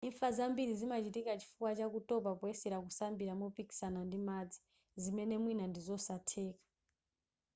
imfa zambiri zimachitika chifukwa cha kutopa poyesera kusambira mopikisana ndi madzi zimene mwina ndizosatheka